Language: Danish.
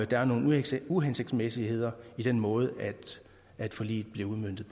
der er nogle uhensigtsmæssigheder i den måde forliget bliver udmøntet